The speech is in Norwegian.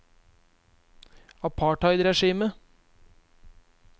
apartheidregimet